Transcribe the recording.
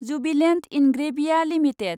Jubilant Ingrevia limited